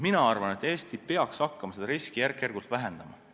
Mina arvan, et Eesti peaks hakkama seda riski järk-järgult vähendama.